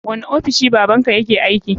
Wani ofishi baban ka yake aiki?